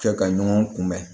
Kɛ ka ɲɔgɔn kunbɛn